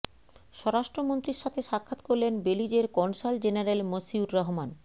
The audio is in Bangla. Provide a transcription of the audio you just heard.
স্বরাষ্ট্রমন্ত্রীর সাথে সাক্ষাৎ করলেন বেলিজের কনসাল জেনারেল মশিউর রহমান